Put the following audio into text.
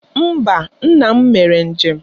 Mba, nna m mere njem.